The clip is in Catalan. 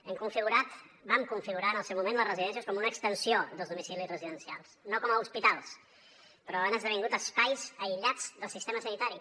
hem configurat vam configurar en el seu moment les residències com una extensió dels domicilis residencials no com a hospitals però han esdevingut espais aïllats del sistema sanitari